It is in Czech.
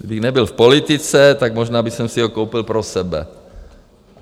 Kdybych nebyl v politice, tak možná bych si ho koupil pro sebe.